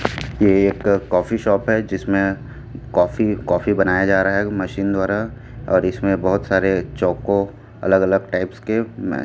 ये एक coffee shop है जिसमें कॉफी कॉफी बनाया जा रहा है मशीन द्वारा और इसमें बहुत सारे चोको अलग अलग टाइप्स के अह--